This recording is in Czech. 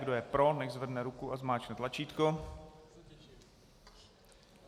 Kdo je pro, nechť zvedne ruku a zmáčkne tlačítko.